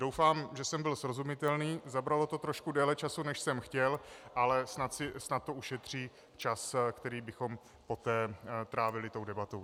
Doufám, že jsem byl srozumitelný, zabralo to trošku více času, než jsem chtěl, ale snad to ušetří čas, který bychom poté trávili tou debatou.